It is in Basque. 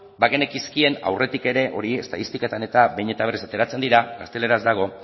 bagenekizkien aurretik ere hori estatistiketan eta behin eta berriz ateratzen dira gazteleraz dago